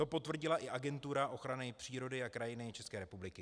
To potvrdila i Agentura ochrany přírody a krajiny České republiky.